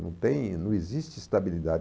Não tem, não existe estabilidade.